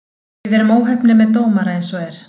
Við erum óheppnir með dómara eins og er.